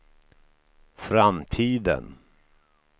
framtiden